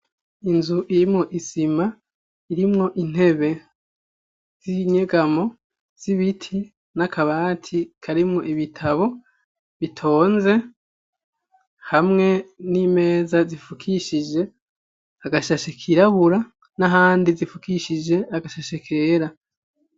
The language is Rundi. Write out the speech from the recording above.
Inzu irimwo isima irimwo intebe z'inyegamo z'ibiti n'akabati karimwo ibitabo bitonze hamwe n'imeza zifukishije agashashe kirabura n'ahandi zifukishije agashashe kera.